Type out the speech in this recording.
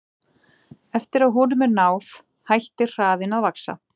Eftir að honum er náð hættir hraðinn að vaxa.